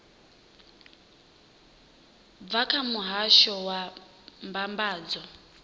bva kha muhasho wa mbambadzo